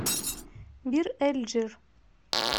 бир эль джир